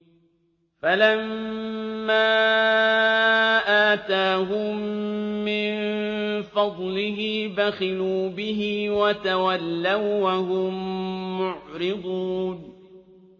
فَلَمَّا آتَاهُم مِّن فَضْلِهِ بَخِلُوا بِهِ وَتَوَلَّوا وَّهُم مُّعْرِضُونَ